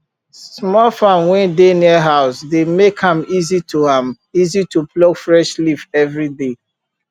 small farm wey dey near house dey make am easy to am easy to pluck fresh leaf every day